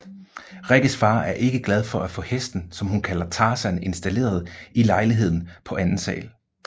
Rikkes far er ikke glad for at få hesten som hun kalder Tarzan installeret i lejligheden på anden sal